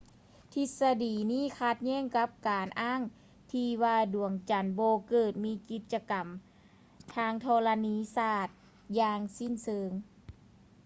ທິດສະດີນີ້ຂັດແຍ້ງກັບການອ້າງທີ່ວ່າ ດວງຈັນບໍ່ເກີດມີກິດຈະກຳທາງທໍລະນີສາດຢ່າງສິ້ນເຊີງ